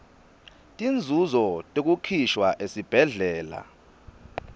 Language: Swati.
tinzunzo tekukhishwa esibhedlela